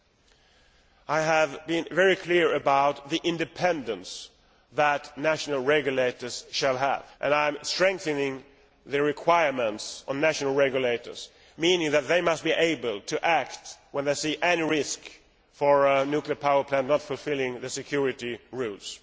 Secondly, I have been very clear about the independence that the national regulators will have and I am strengthening the requirements on national regulators, meaning that they must be able to act when they see any risk of a nuclear power plant not fulfilling the security rules.